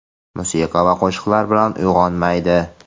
musiqa va qo‘shiqlar bilan uyg‘onmaydi.